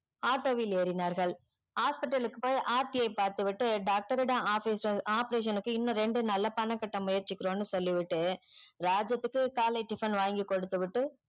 auto ல் ஏறினார்கள் hospital க்கு போய் ஆர்த்தியே பார்த்து விட்டு doctor யிடம் operation operation க்கு இன்னோம் ரெண்டு நாளுல பணம் கட்ட முயற்ச்சிக்கிறோன்னு சொல்லிவிட்டு ராஜாத்துக்கு காலை tiffin வாங்கி கொடுத்து விட்டு